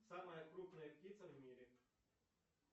самая крупная птица в мире